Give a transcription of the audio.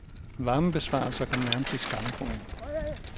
Varmebesparelser kom nærmest i skammekrogen.